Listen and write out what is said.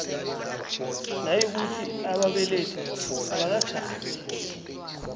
nayikuthi ababelethi abakatjhadi